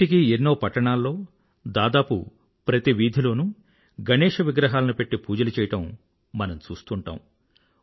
నేటికీ ఎన్నో పట్టణాల్లో దాదాపు ప్రతి వీధిలోనూ గణేశ విగ్రహాలను పెట్టి పూజలు చేయడం మనం చూశ్తూంటాం